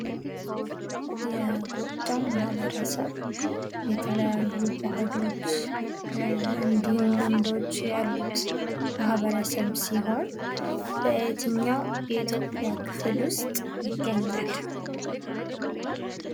የጎጃም ማህበረሰብ የተለያዩ ባህሎች፣ እንዲሁም ልምዶች ያሉት ማህበረሰብ ሲሆን በየትኛው የኢትዮጵያ ክፍል ውስጥ ይገኛል?